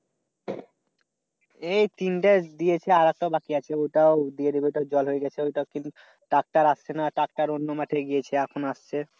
এই তিনটা দিয়েছি আর একটা বাকি আছে ওইটাও দিয়ে দিব ঐটার জল হলে তো ওইটার tractor আসছে না tractor অন্য মাঠে গিয়েছে। এখন আসছে।